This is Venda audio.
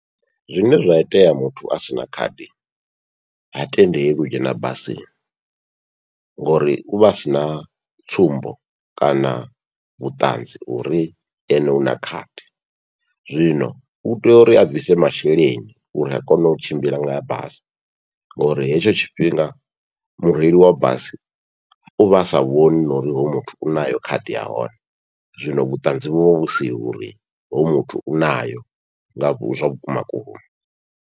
Zwine zwa itea muthu a sina khadi ha tendelwi u dzhena basini, ngori uvha a sina tsumbo kana vhuṱanzi ha uri ene u na khadi zwino u tea uri a bvise masheleni uri a kone u tshimbila nga basi, ngori hetsho tshifhinga mureili wa bisi uvha asa vhoni na uri hoyu muthu u nayo khadi yahone, zwino vhuṱanzi vhuvha vhu siho uri hoyu muthu u nayo nga vhu zwakuma kuma.